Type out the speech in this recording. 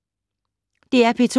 DR P2